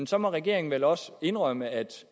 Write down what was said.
så må regeringen vel også indrømme at